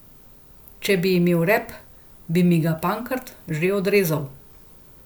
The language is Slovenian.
Če bi imel rep, bi mi ga Pankrt že odrezal.